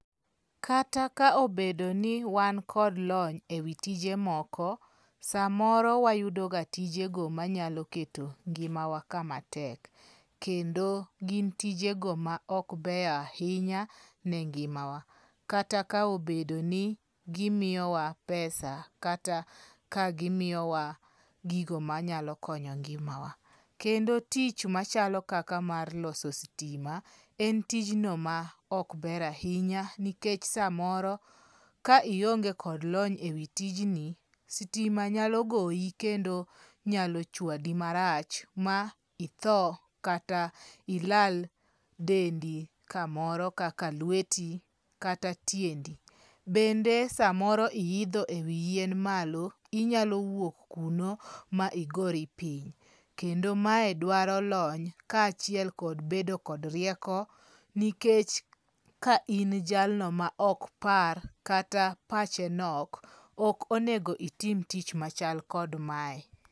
Kata ka obedo ni wan kod lony ewi tije moko, samoro wayudoga tijego manyalo keto ngimawa kama tek. Kendo gin tijego ma ok beyo ahinya ne ngimawa. Kata ka obedo ni gimiyowa pesa kata ka gimiyowa gigo manyalo konyo ngimawa. Kendo tich machalo kaka mar loso sitima en tijno maok ber ahinya, nikech samoro ka ionge kod lony ewi tijni, sitima nyalo goyi kendo nyalo chwadi marach ma itho kata ilal dendi kamoro kaka lweti kata tiendi. Bende samoro iidho ewi yien malo, inyalo wuok kuno ma igori piny. Kendo mae dwaro lony kaachiel kod bedo kod rieko nikech ka in jalno maok par, kata pache nok, ok onego itim tich machal kod mae.